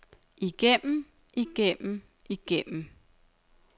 igennem igennem igennem